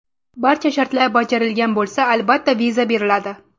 Barcha shartlar bajarilgan bo‘lsa, albatta, viza beriladi.